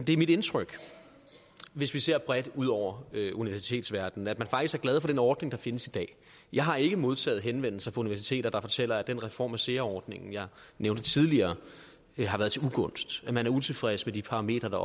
det er mit indtryk hvis vi ser bredt ud over universitetsverdenen at man faktisk er glad for den ordning der findes i dag jeg har ikke modtaget henvendelser fra universiteter der fortæller at den reform af sea ordningen jeg nævnte tidligere har været til ugunst at man er utilfreds med de parametre der